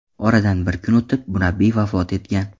Oradan bir kun o‘tib, murabbiy vafot etgan.